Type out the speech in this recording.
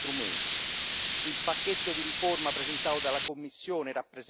presentato dalla Commissione rappresenta, da questo punto di vista, un primo passo importante.